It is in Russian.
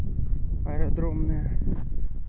аэродромная